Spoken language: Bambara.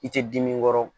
I tɛ dimi kɔrɔ